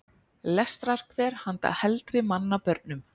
Lestrarkver handa heldri manna börnum.